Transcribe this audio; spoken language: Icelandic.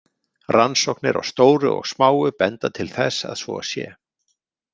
Rannsóknir á stóru og smáu benda til þess að svo sé.